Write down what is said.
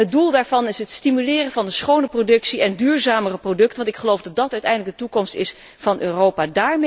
Het doel daarvan is het stimuleren van de schone productie en duurzamere producten, want ik geloof dat dat uiteindelijk de toekomst is van Europa.